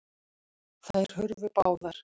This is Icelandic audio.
Þær hurfu báðar.